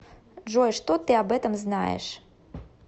джой что ты об этом знаешь